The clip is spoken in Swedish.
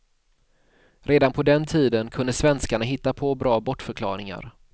Redan på den tiden kunde svenskarna hitta på bra bortförklaringar.